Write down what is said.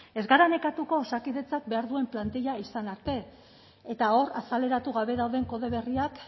ez gara nekatuko osakidetzak behar duen plantilla izan arte eta hor azaleratu gabe dauden kode berriak